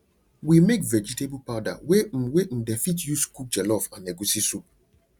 we make vegetable powder wey um wey um dem fit use um cook jollof and egusi soup